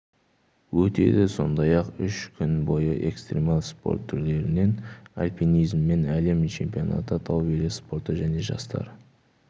өтеді сондай-ақ үш күн бойы экстремал спорт түрлерінен альпинизмнен әлем чемпионаты тау велоспорты және жастар